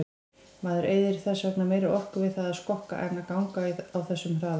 Maður eyðir þess vegna meiri orku við það að skokka en ganga á þessum hraða.